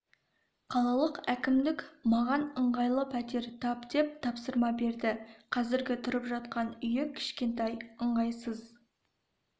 қалалық әкімдік маған ыңғайлы пәтер тап деп тапсырма берді қазіргі тұрып жатқан үйі кішкентай ыңғайсыз